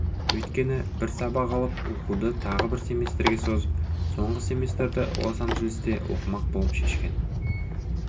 өйткені бір сабақ алып оқуды тағы бір семестрге созып соңғы семестрді лос анджелесте оқымақ болып шешкен